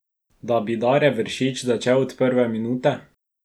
Da bi Dare Vršič začel od prve minute?